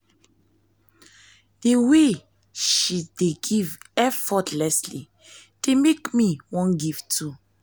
the way she dey give effortlessly dey make me wan give too